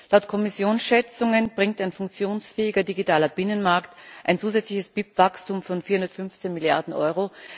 Laut Kommissionsschätzungen bringt ein funktionsfähiger digitaler Binnenmarkt ein zusätzliches BIP Wachstum von 415 Milliarden Euro.